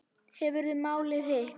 Hefurðu málað hitt?